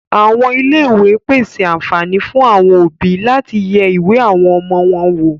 Àwọn Ilé ìwé pèse àǹfààní fún àwọn òbí láti yẹ ìwé àwọn ọmọ wọn wò.